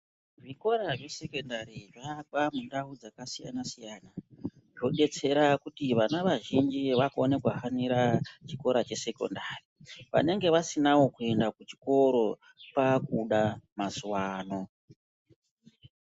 Zvikora zvesekendari zvaakwa mundau dzakasiyana-siyana. Zvobetsera kuti vana vazhinji vakone kuhanira chikora chesekondari. Vanenge vasinavo kuenda kuchikoro kwakuda mazuva ano.